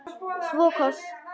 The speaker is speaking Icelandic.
Svo koss.